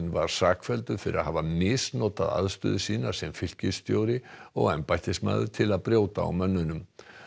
var sakfelldur fyrir að hafa misnotað aðstöðu sína sem fylkisstjóri og embættismaður til að brjóta á mönnunum